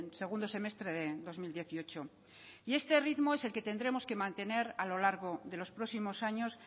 segundo semestre de dos mil dieciocho y este ritmo es el que tendremos que mantener a lo largo de los próximos años